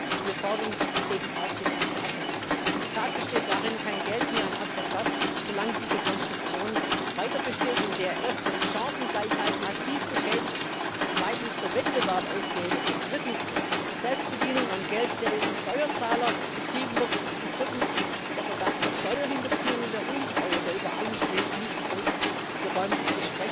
Aber wir fordern eben jetzt auch Taten. Und die Tat besteht darin Kein Geld mehr an Agrofert, solange diese Konstruktion weiterbesteht, in der erstens Chancengleichheit massiv beschädigt ist, zweitens der Wettbewerb ausgehebelt wird, drittens Selbstbedienung am Geld der EU Steuerzahler betrieben wird und viertens der Verdacht der Steuerhinterziehung und der Untreue, der über allem schwebt, nicht ausgeräumt ist.